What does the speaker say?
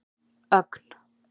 Ögn